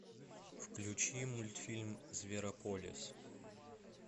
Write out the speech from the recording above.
включи мультфильм зверополис